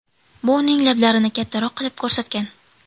Bu uning lablarini kattaroq qilib ko‘rsatgan.